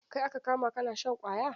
Kai aka kama kana shan ƙwaya?